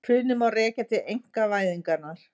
Hrunið má rekja til einkavæðingarinnar